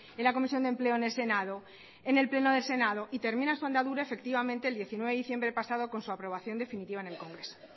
en la comisión de empleo en el senado en el pleno del senado y termina su andadura efectivamente el diecinueve de diciembre pasado con su aprobación definitiva en el congreso